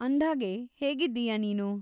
ಅಂದ್ಹಾಗೆ, ಹೇಗಿದ್ದೀಯ ನೀನು?